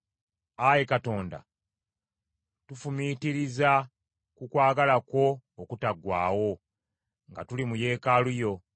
Ayi Katonda, tufumiitiriza ku kwagala kwo okutaggwaawo nga tuli mu Yeekaalu yo.